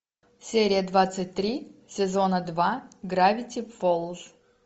серия двадцать три сезона два гравити фолз